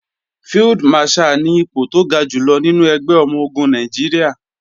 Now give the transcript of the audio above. Field Marshal ni ipò tó ga jùlọ nínú ẹgbẹ́ ọmọ-ogun Nàìjíríà